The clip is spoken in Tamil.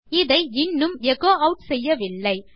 இதை இன்னும் எச்சோ ஆட் செய்யவில்லை